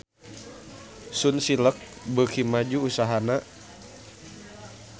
Sunsilk beuki maju usahana